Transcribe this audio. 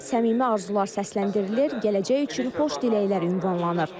Səmimi arzular səsləndirilir, gələcək üçün xoş diləklər ünvanlanır.